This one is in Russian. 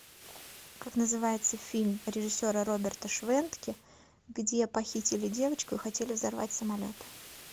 как называется фильм режиссера роберта швентке где похитили девочку и хотели взорвать самолет